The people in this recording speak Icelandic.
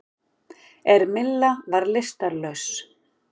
En Milla var lystarlaus.